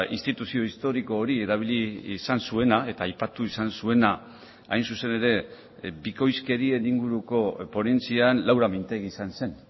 instituzio historiko hori erabili izan zuena eta aipatu izan zuena hain zuzen ere bikoizkerien inguruko ponentzian laura mintegi izan zen